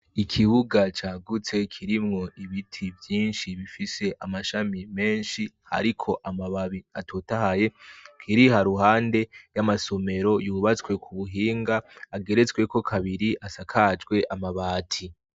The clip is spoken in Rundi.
Ikibuga cagutse kirimwo ibiti byinshi bifise amashami menshi ariko amababi atotahaye kiriha ruhande y'amasomero yubatswe ku buhinga ageretswe ko kabiri asakajwe amabati.